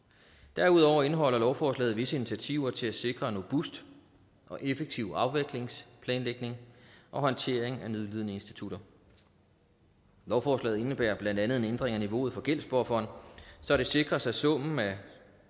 derudover indeholder lovforslaget visse initiativer til at sikre en robust og effektiv afviklingsplanlægning og håndtering af nødlidende institutter lovforslaget indebærer blandt andet en ændring af niveauet for gældsbufferen så det sikres at summen af